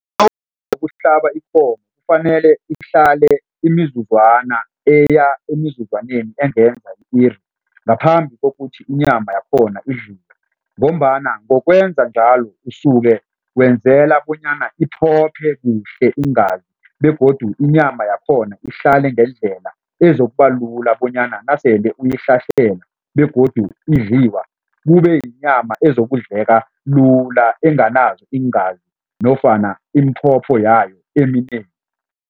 Ukuhlaba ikomo kufanele ihlale imizuzwana eya emizuzwaneni engenza i-iri, ngaphambi kokuthi inyama yakhona idliwe. Ngombana ngokwenza njalo, usuke wenzela bonyana iphophe kuhle iingazi begodu inyama yakhona ihlale ngendlela ezokubalula bonyana nasele begodu idliwa, kube yinyama ezokudleka lula enganazo iingazi nofana yayo eminengi.